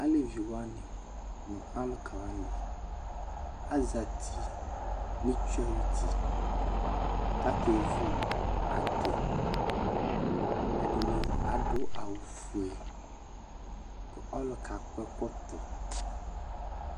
ɑlɛviwɑni nu ɑlukɑwɑni ɑzati nitsuɑyuti kɑkɛvu ɑdi ɛdini ɑdu ɑwufuɛ ku ɔlukɑ kɔɛkɔto